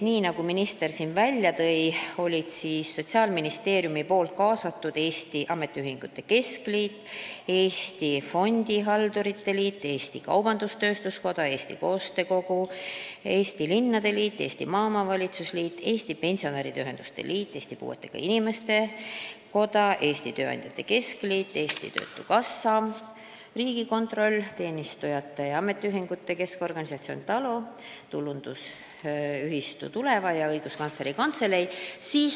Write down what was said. Nagu minister siin välja tõi, olidki Sotsiaalministeeriumi poolt kaasatud Eesti Ametiühingute Keskliit, Eesti Fondihaldurite Liit, Eesti Kaubandus-Tööstuskoda, Eesti Koostöö Kogu, Eesti Linnade Liit, Eesti Maaomavalitsuste Liit, Eesti Pensionäride Ühenduste Liit, Eesti Puuetega Inimeste Koda, Eesti Tööandjate Keskliit, Eesti Töötukassa, Riigikontroll, Teenistujate Ametiliitude Keskorganisatsioon TALO, Tulundusühistu Tuleva ja Õiguskantsleri Kantselei.